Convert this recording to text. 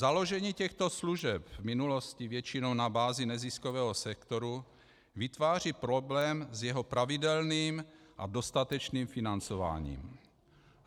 Založení těchto služeb v minulosti většinou na bázi neziskového sektoru vytváří problém s jeho pravidelným a dostatečným financováním.